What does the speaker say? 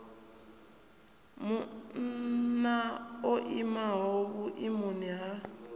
munna o imaho vhuimoni ha